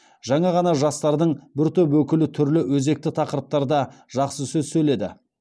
жаңа ғана жастардың бір топ өкілі түрлі өзекті тақырыптарда жақсы сөз сөйледі